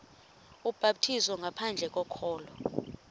ubhaptizo ngaphandle kokholo